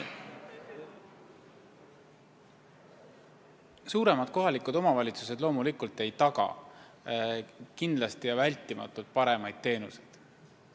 Suuremad kohalikud omavalitsused loomulikult ei taga ilmtingimata paremaid teenuseid.